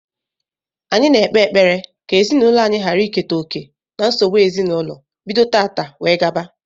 Anyi na-ekpe ekpere ka ezinaūlo anyi ghara iketa oke na nsogbu ezinaūlo bido tata wee gaba